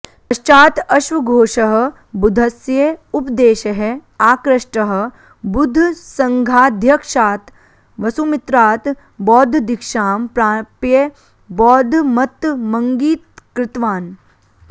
पश्चात् अश्वघोषः बुद्धस्य उपदेशैः आकृष्टः बुद्धसङ्घाध्यक्षात् वसुमित्रात् बौद्धदीक्षां प्राप्य बौद्धमतमङ्गीकृतवान्